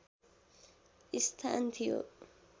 स्थान थियो